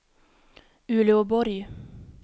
Uleåborg